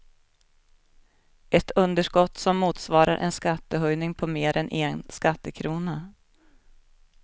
Ett underskott som motsvarar en skattehöjning på mer än en skattekrona.